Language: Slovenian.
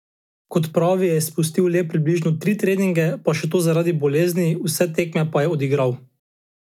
Kot pravi, je izpustil le približno tri treninge, pa še to zaradi bolezni, vse tekme pa je odigral.